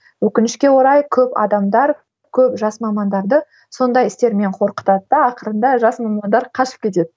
өкінішке орай көп адамдар көп жас мамандарды сондай істермен қорқытады да ақырында жас мамандар қашып кетеді